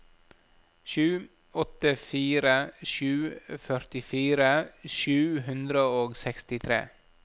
sju åtte fire sju førtifire sju hundre og sekstitre